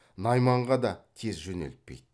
найманға да тез жөнелтпейді